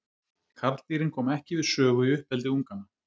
Karldýrin koma ekki við sögu í uppeldi unganna.